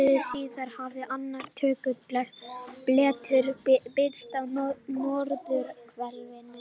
Ári síðar hafði annar dökkur blettur birst á norðurhvelinu.